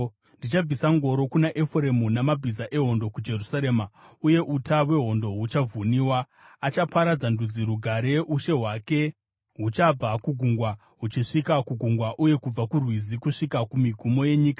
Ndichabvisa ngoro kuna Efuremu, namabhiza ehondo kuJerusarema, uye uta hwehondo huchavhunwa. Achaparidzira ndudzi rugare. Ushe hwake huchabva kugungwa huchisvika kugungwa, uye kubva kuRwizi kusvika kumigumo yenyika.